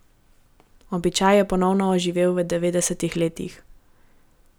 Običaj je ponovno oživel v devetdesetih letih.